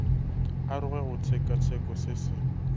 aroge go tshekatsheko se se